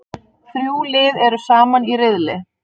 Þrjú lið eru saman í riðli.